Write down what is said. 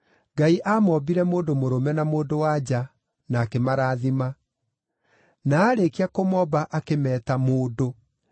Ngai aamoombire mũndũ mũrũme na mũndũ-wa-nja na akĩmarathima. Na aarĩkia kũmomba, akĩmeeta “mũndũ.”